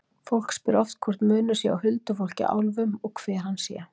Fólk spyr oft hvort munur sé á huldufólki og álfum og hver hann sé þá.